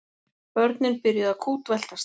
Börnin byrjuðu að kútveltast.